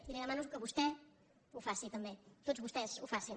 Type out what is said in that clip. i li demano que vostè ho faci també que tots vostès ho facin